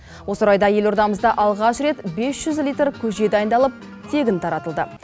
осы орайда елордамызда алғаш рет бес жүз литр көже дайындалып тегін таратылды